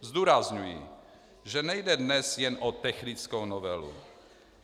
Zdůrazňuji, že nejde dnes jen o technickou novelu.